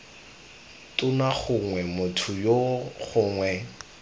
tona gongwe motho yoo gongwe